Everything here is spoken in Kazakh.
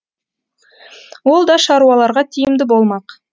ол да шаруаларға тиімді болмақ